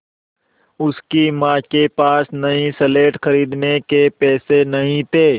उसकी माँ के पास नई स्लेट खरीदने के पैसे नहीं थे